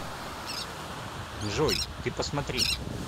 джой ты посмотри